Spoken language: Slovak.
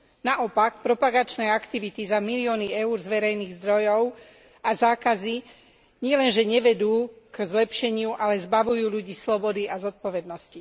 Naopak, propagačné aktivity za milióny eur z verejných zdrojov a zákazy nielenže nevedú k zlepšeniu, ale zbavujú ľudí slobody a zodpovednosti.